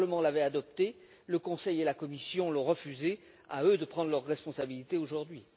Le Parlement l'avait adoptée, le Conseil et la Commission l'ont refusée à eux de prendre leurs responsabilités aujourd'hui.